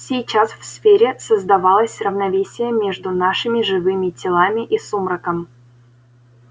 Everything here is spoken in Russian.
сейчас в сфере создавалось равновесие между нашими живыми телами и сумраком